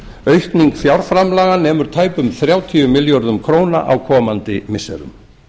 aukning fjárframlaga nemur tæpum þrjátíu milljörðum króna á komandi missirum